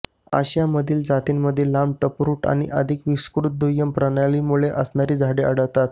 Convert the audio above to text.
आशियामधील जातींमध्ये लांब टप्रूट आणि अधिक विस्तृत दुय्यम प्रणाली मुळे असणारी झाडे आढळतात